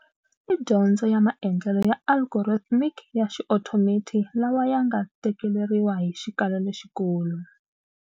I dyondzo ya maendlelo ya algorithmic ya xiothomethi lawa ya nga tekeleriwa hi xikalo lexikulu.